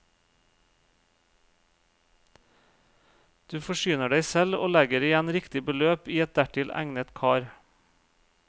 Du forsyner deg selv og legger igjen riktig beløp i et dertil egnet kar.